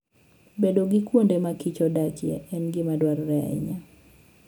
Bedo gi kuonde ma kich odakie en gima dwarore ahinya.